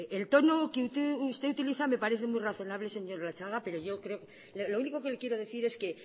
el tono que usted utiliza me parece muy razonable señor latxaga lo único que le quiero decir es que